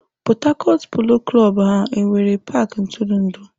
⁰Port Harcourt Polo klọb ha nwere paaki ntụrụndụ?